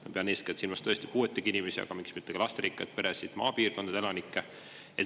Ma pean eeskätt silmas puuetega inimesi, aga ka lasterikkaid peresid, üldse maapiirkondade elanikke.